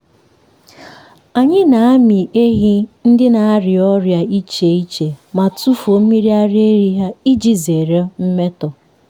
ụlọ ehi anyị nwere ikuku kwesịrị ekwesị iji belata okpomọkụ na ísì.